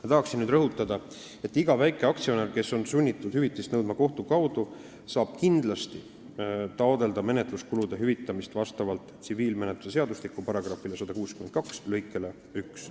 Ma tahan nüüd rõhutada, et iga väikeaktsionär, kes on sunnitud hüvitist nõudma kohtu kaudu, saab kindlasti taotleda menetluskulude hüvitamist vastavalt tsiviilkohtumenetluse seadustiku § 162 lõikele 1.